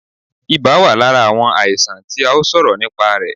Ibà wà lára àwọn àìsàn tí a ó sọ̀rọ̀ nìpa rẹ̀